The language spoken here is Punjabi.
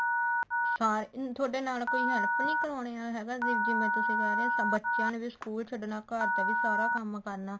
ਸਾਰੇ ਤੁਹਾਡੇ ਨਾਲ ਕੋਈ help ਨੀ ਕਰਾਉਣੇ ਵਾਲਾ ਹੈਗਾ ਜਿਵੇਂ ਤੁਸੀਂ ਕਹਿ ਰਹੇ ਹੋ ਬੱਚਿਆਂ ਨੇ ਵੀ ਸਕੂਲ ਛੱਡਣਾ ਘਰ ਦਾ ਵੀ ਸਾਰਾ ਕੰਮ ਕਰਨਾ